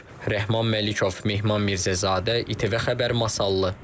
Rəhman Məlikov, Mehman Mirzəzadə, İTV Xəbər Masallı.